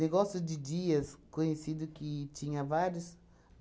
Negócio de dias conhecido que tinha vários.